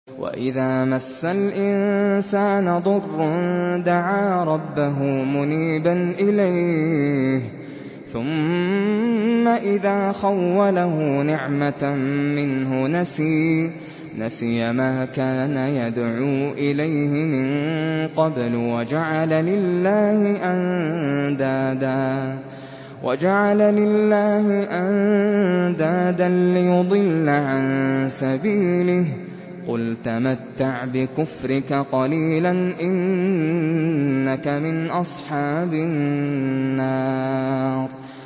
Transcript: ۞ وَإِذَا مَسَّ الْإِنسَانَ ضُرٌّ دَعَا رَبَّهُ مُنِيبًا إِلَيْهِ ثُمَّ إِذَا خَوَّلَهُ نِعْمَةً مِّنْهُ نَسِيَ مَا كَانَ يَدْعُو إِلَيْهِ مِن قَبْلُ وَجَعَلَ لِلَّهِ أَندَادًا لِّيُضِلَّ عَن سَبِيلِهِ ۚ قُلْ تَمَتَّعْ بِكُفْرِكَ قَلِيلًا ۖ إِنَّكَ مِنْ أَصْحَابِ النَّارِ